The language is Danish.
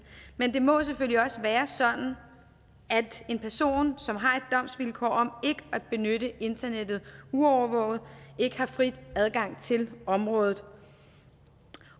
men det må selvfølgelig også være sådan at en person som har et domsvilkår om ikke at benytte internettet uovervåget ikke har fri adgang til området